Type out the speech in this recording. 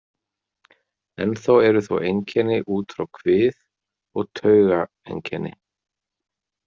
Ennþá eru þó einkenni út frá kvið og taugaeinkenni.